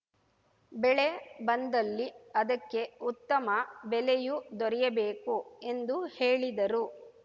ಬೆಳೆ ಬಂದಲ್ಲಿ ಅದಕ್ಕೆ ಉತ್ತಮ ಬೆಲೆಯೂ ದೊರೆಯಬೇಕು ಎಂದು ಹೇಳಿದರು